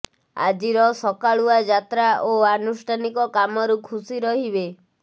ଆଜିର ସକାଳୁଆ ଯାତ୍ରା ଓ ଆନୁଷ୍ଠାନିକ କାମରୁ ଖୁସି ରହିବେ